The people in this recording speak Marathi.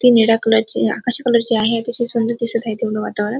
निळ्या कलरची आकाशी कलरची आहे अतिशय सुंदर दिसत आहे तेवढ वातावरण--